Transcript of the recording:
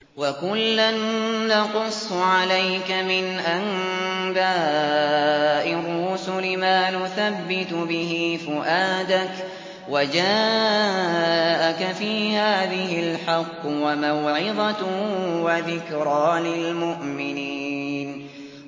وَكُلًّا نَّقُصُّ عَلَيْكَ مِنْ أَنبَاءِ الرُّسُلِ مَا نُثَبِّتُ بِهِ فُؤَادَكَ ۚ وَجَاءَكَ فِي هَٰذِهِ الْحَقُّ وَمَوْعِظَةٌ وَذِكْرَىٰ لِلْمُؤْمِنِينَ